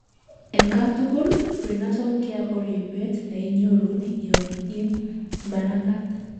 en katugul: prenatal care ko ripet neinyoru yon imanagat